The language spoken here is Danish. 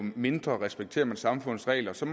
mindre respekterer man samfundets regler så